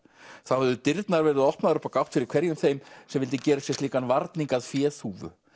þá hefðu dyrnar verið opnaðar upp á gátt fyrir hverjum þeim sem vildi gera sér slíkan varning að féþúfu